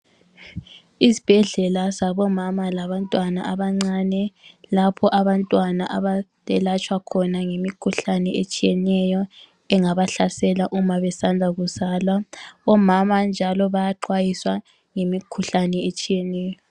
Izibhedlela zabomama labantwana abancane, lapho abantwana abayabe belatshwa khona ngemikhuhlane etshiyeneyo engabahlasela uma besanda kuzalwa. Omama njalo bayaxwayiswa ngemikhuhlane etshiyeneyo.